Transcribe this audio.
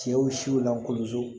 Cɛw siw lankolonso